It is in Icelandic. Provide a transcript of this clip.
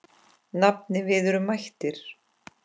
Nafni, við erum mættir